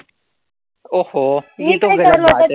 ओ हो